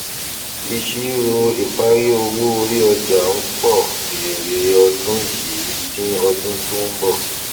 ìṣirò ìparí owó orí ọjà ń pọ èrè ọdún yìí dín ọdún tó ń bọ